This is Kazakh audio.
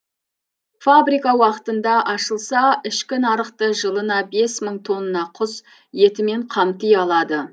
фабрика уақытында ашылса ішкі нарықты жылына бес мың тонна құс етімен қамти алады